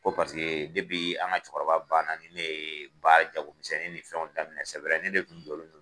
Ko paseke depi an ka cɛkɔrɔba bana ni ne yee baara jagomisɛnni ni fɛnw daminɛ sɛ wɛrɛ ni ne kun jɔlen don